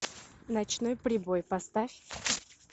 ночной прибой поставь